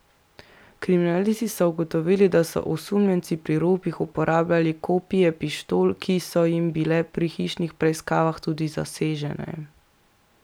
Kriminalisti so ugotovili, da so osumljenci pri ropih uporabljali kopije pištol, ki so jim bile pri hišnih preiskavah tudi zasežene.